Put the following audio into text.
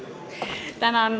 Palun!